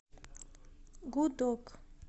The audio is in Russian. гудок